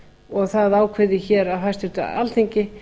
og það ákveðið hér af hæstvirt alþingi